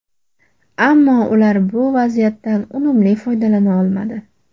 Ammo ular bu vaziyatdan unumli foydalana olmadi.